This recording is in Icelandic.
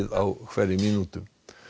á hverri mínútu